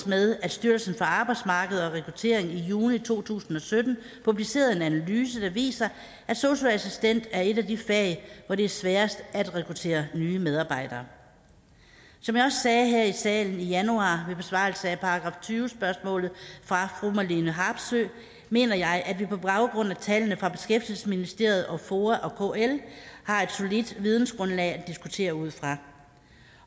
med at styrelsen for arbejdsmarked og rekruttering i juni to tusind og sytten publicerede en analyse der viser at sosu assistent er et af de fag hvor det er sværest at rekruttere nye medarbejdere som jeg også sagde her i salen i januar ved besvarelse af § tyve spørgsmålet fra fru marlene harpsøe mener jeg at vi på baggrund af tallene fra beskæftigelsesministeriet og foa og kl har et solidt vidensgrundlag at diskutere ud fra